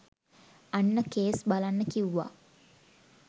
අන්න කෙස් බලන්න කිව්ව